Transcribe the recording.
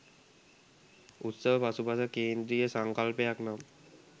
උත්සව පසුපස කේන්ද්‍රීය සංකල්පයක් නම්